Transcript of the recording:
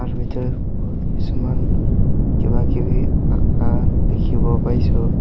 ছবিটোত বহুত কিছুমান কিবা কিবি আঁকা দেখিব পাইছোঁ।